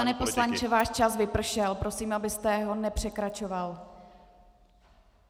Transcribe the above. Pane poslanče, váš čas vypršel, prosím, abyste ho nepřekračoval.